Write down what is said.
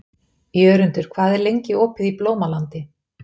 Jörundur, hvað er lengi opið í Blómalandi?